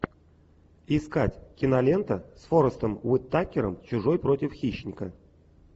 искать кинолента с форестом уитакером чужой против хищника